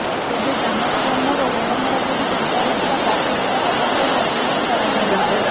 ତେବେ ଜାନକୀ ବଲ୍ଲଭ ଋଣଭାର ଯୋଗୁଁ ଚିନ୍ତାରେ ଥିବା ପ୍ରାଥମିକ ତଦନ୍ତରୁ ଅନୁମାନ କରାଯାଉଛି